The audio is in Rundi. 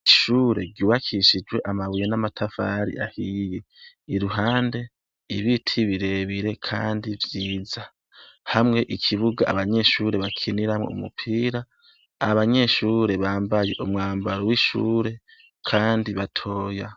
Ishure ryubakishijwe amabuye n'amatafari ahiye. Iruhande, ibiti birebire kandi vyiza. Hamwe ikibuga, abanyeshure bakiniramwo umupira , abanyeshure bambaye umwambaro w'ishure kandi batoya.